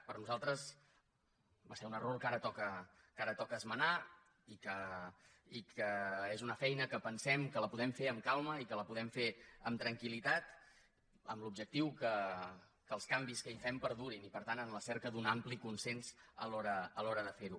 per nosaltres va ser un error que ara toca esmenar i és una feina que pensem que la podem fer amb calma i que la podem fer amb tranquil·litat amb l’objectiu que els canvis que hi fem perdurin i per tant en la cerca d’un ampli consens a l’hora de fer ho